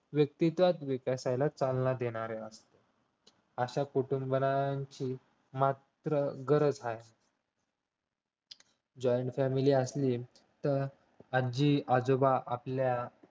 व्यक्तिव विकासाला चालना देणारे असते अशा कटुंबाची मात्र गरज आहे joint family असली तर आजी आजोबा आपल्या